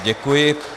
Děkuji.